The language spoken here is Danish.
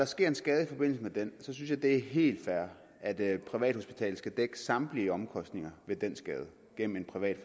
sker en skade i forbindelse med den synes jeg det er helt fair at privathospitalet skal dække samtlige omkostninger ved den skade gennem en privat